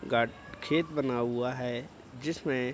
गाट् खेत बना हुआ है जिसमें --